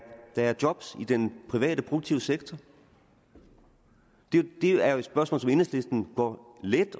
er job i den private produktive sektor det er jo et spørgsmål som enhedslisten går let